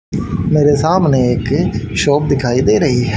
मेरे सामने एक शॉप दिखाई दे रही है।